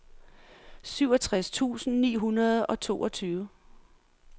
syvogtres tusind ni hundrede og toogtyve